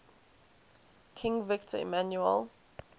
king victor emmanuel